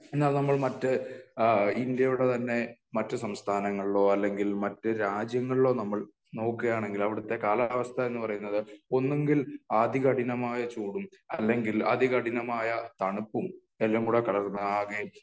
എന്നാൽ നമ്മൾ മറ്റ് ഇന്ത്യയുടെ തന്നെ മറ്റ് സംസ്ഥാനങ്ങളിലോ അല്ലെങ്കിൽ , മറ്റ് രാജ്യങ്ങളിലോ നമ്മൾ നോക്കുകയാണെങ്കില് അവിടത്തെ കാലാവസ്ഥ എന്ന് പറയുന്നത് ഒന്നുകിൽ അതി കഠിനമായ ചൂടും അല്ലെങ്കിൽ അതികഠിനമായ തണുപ്പും എല്ലാം കൂടെ കലർന്ന ആകെ